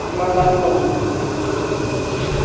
ema nan long ley tham zi an pe chu ngan ang kapley.